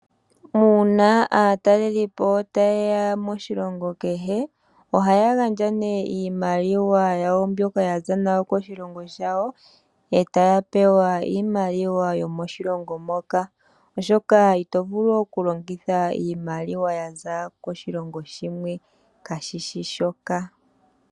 Una aatalelipo ta yeya moshilongo kehe ohaya gandja iimaliwa yawo mbyoka yaza nayo koshilongo shawo e ta ya pewa iimaliwa yomoshilongo moka oshoka itovulu okulongitha iimaliwa yaza koshilongo shimwe kashishi shoka.